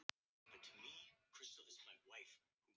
Já, hann minntist á það nokkrum sinnum